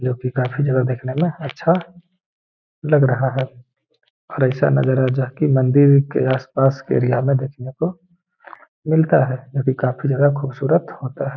यहाँ पे काफी जगह देखने मे अच्छा लग रहा है और ऐसा नजारा जो कि मंदिर के आस-पास के एरिया में देखने को मिलता है जो कि काफी ज्यादा खूबसूरत होता है।